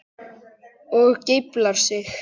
Og geiflar sig.